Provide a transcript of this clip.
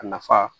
A nafa